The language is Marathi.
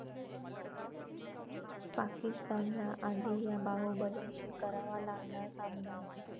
पाकिस्तानला आधी 'या' बाहुबलींशी करावा लागणार सामना!